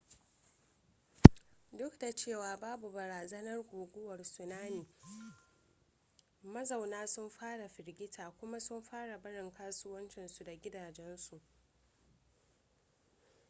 duk da cewa babu barazanar guguwar tsunami mazauna sun fara firgita kuma sun fara barin kasuwancinsu da gidajensu